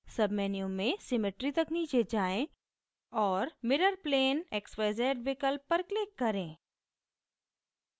submenu में symmetry तक नीचे जाएँ और mirrorplane x z y विकल्प पर click करें